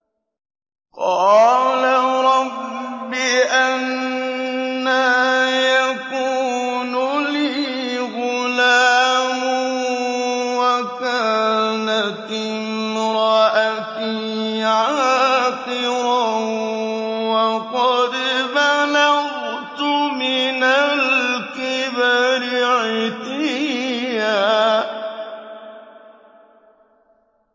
قَالَ رَبِّ أَنَّىٰ يَكُونُ لِي غُلَامٌ وَكَانَتِ امْرَأَتِي عَاقِرًا وَقَدْ بَلَغْتُ مِنَ الْكِبَرِ عِتِيًّا